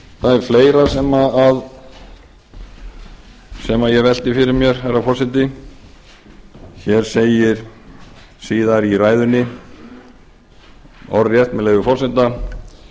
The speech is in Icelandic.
það er fleira sem ég velti fyrir mér herra forseti hér segir síðar í ræðunni orðrétt með leyfi forseta við